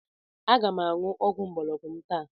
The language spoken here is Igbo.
Aga m aṅụ ọgwụ mgbọrọgwụ m taa.